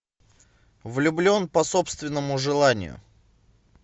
влюблен по собственному желанию